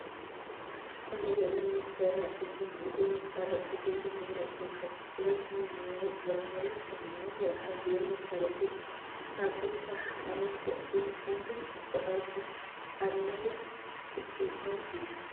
ኣብዚ ዘሎ መፈላጢ ኮይኑ እዚ መፋለጢ እዚ ድማ ናይ ጥምቀት ጥቅሉል ናይ ሞባይል ዕለታዊ፣ ሰሙናዊ፣ ወርሓዊ ዝብል መፋለጢ እዩ። ኣብስ ስራሕካ መፋለጢ ምጥቃም ግን እኮ ኣዝዩ ኣድላይ ውፅኢታውን እዩ።